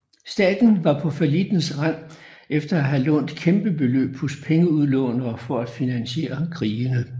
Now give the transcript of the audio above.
Staten var på fallittens rand efter at have lånt kæmpe beløb hos pengeudlånere for at finansiere krigene